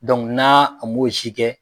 na a m'o si kɛ.